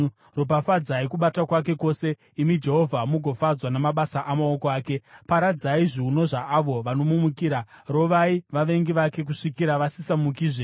Ropafadzai kubata kwake kwose, imi Jehovha, mugofadzwa namabasa amaoko ake. Paradzai zviuno zvaavo vanomumukira: rovai vavengi vake kusvikira vasisamukizve.”